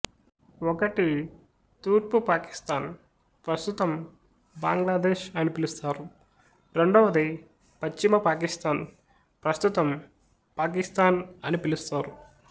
ఒకటి తూర్పు పాకిస్తాన్ ప్రస్తుతం బంగ్లాదేశ్ అని పిలుస్తారు రెండవది పశ్చిమ పాకిస్తాన్ ప్రస్తుతం పాకిస్తాన్ అని పిలుస్తారు